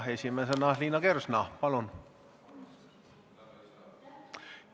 Esimesena Liina Kersna, palun!